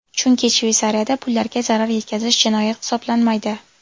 Chunki Shveysariyada pullarga zarar yetkazish jinoyat hisoblanmaydi.